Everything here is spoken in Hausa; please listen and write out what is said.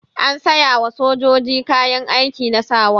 An sayawa sojoji kayan aiki na sawa.